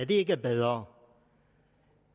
det ikke er bedre